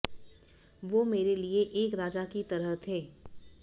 वो मेरे लिए एक राजा की तरह थे